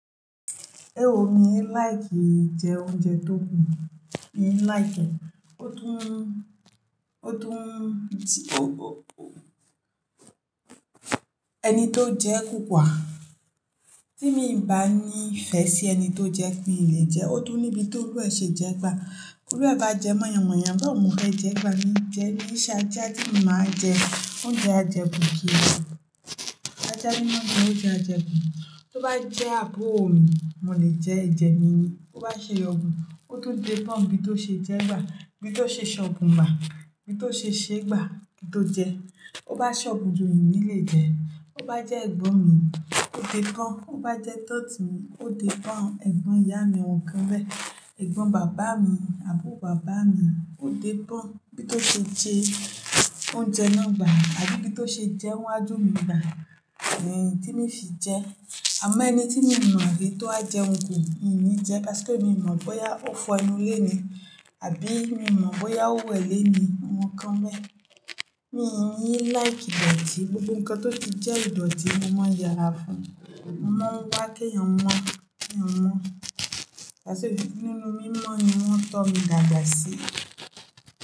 Ewo mi like jẹ oúnjẹ tó kù, mi like, ó tùn, ó tùn, tí ó, ẹni tó jẹ́ kùkúwa, tí mi ò bá ní ìfẹ́ sí ẹni tó jẹ́ kí n lè jẹ́, ó dùn níbi tó lú ẹ ṣe jẹ́ gbà. Kúrú ẹ bá jẹ́ mọ̀yamọ̀yamọ̀, bá ò mọ̀ fẹ́ jẹ́ gbà ní jẹ́, ní ṣáájú tí mo máa jẹ oúnjẹ ajẹku kí i lọ. Ajá ní mọ́ bí mo ti jẹ ajẹku. Tó bá jẹ́ àbúrò mi, mo lè jẹ́ ẹ̀jẹ̀ mi ni. Ó bá ṣe ọ̀bùn, ó tó dé bọ́ n bí tó ṣe jẹ́ gbà, bí tó ṣe ṣọ̀bùn gbà, bí tó ṣe ṣé gbà, kín tó jẹ. Ó bá ṣọ̀bùn ju mi ní lè jẹ́. Ó bá jẹ́ ẹ̀gbọ́n mi, ó dé bọ́n. Ó bá jẹ́ tọ̀tí mi, ó dé bọ́n. Ẹ̀gbọ́n ìyá mi awọ́n nkan bẹ́ẹ̀. Ẹ̀gbọ́n bàbá mi, àbúrò bàbá mi, ó dé bọ́n bí tó ṣe jẹ oúnjẹ náà gbà àbí bí tó ṣe jẹ́ wa ju mi gbà, tí mo fi jẹ́. Àmọ́ ẹni tí mo mọ̀ àbí tó bá jẹ́ ohun kò ní, mi ò ní jẹ́, átipe mi mọ̀ bóyá ó fọ ẹnu lé ni àbí mi mọ̀ bóyá ó wẹ̀ lé ni, awọ́n nkan bẹ́ẹ̀. Mi ò like ìdọ̀tí, gbogbo nǹkan tó ti jẹ́ ìdọ̀tí, mo máa yára fún un. Mo máa ń wá kí ẹ̀yàn mọ́, kí ẹ̀yàn mọ́. Lásìkò ninú mi mọ́ ẹ̀yin, wọn tọ́ mi dàgbà sí.